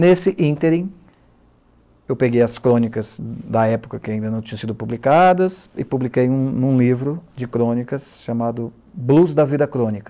Nesse ínterim, eu peguei as crônicas da época que ainda não tinham sido publicadas e publiquei em um em um livro de crônicas chamado Blues da Vida Crônica.